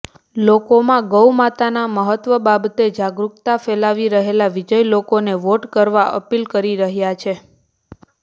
લોકોમાં ગૌમાતાના મહત્વ બાબતે જાગરુકતા ફેલાવી રહેલા વિજય લોકોને વોટ કરવાની અપીલ કરી રહ્યા છે